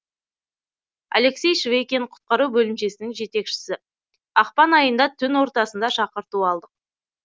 алексей швейкин құтқару бөлімшесінің жетекшісі ақпан айында түн ортасында шақырту алдық